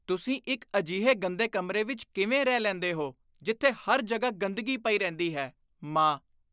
ਤੁਸੀਂ ਇੱਕ ਅਜਿਹੇ ਗੰਦੇ ਕਮਰੇ ਵਿੱਚ ਕਿਵੇਂ ਰਹਿ ਲੈਂਦੇ ਹੋ ਜਿੱਥੇ ਹਰ ਜਗ੍ਹਾ ਗੰਦਗੀ ਪਈ ਰਹਿੰਦੀ ਹੈ? ਮਾਂ